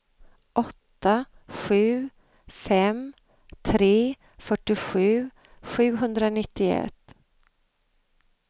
åtta sju fem tre fyrtiosju sjuhundranittioett